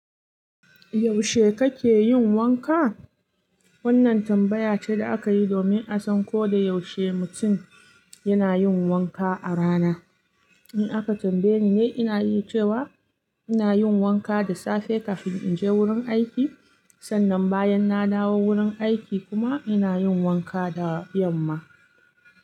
Yaushe kake yin wanka? Wannan tambaya ce da aka yi domin a san ko da yaushe mutum yana yin wanka a rana. In aka tambaye ni, ina yi cewa ina yin wanka da safe kafin in je wurin aiki. Sannan bayan na dawo wurin aiki kuma ina yin wanka da yamma.